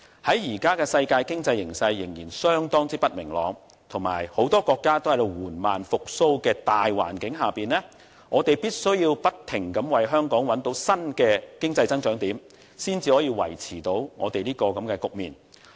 在目前世界經濟形勢仍然相當不明朗，以及很多國家均在緩慢復蘇的大環境下，我們必須不停地為香港找到新的經濟增長點，才能夠支持和配合。